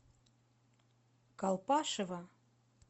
колпашево